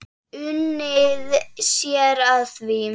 Unnið sé að því.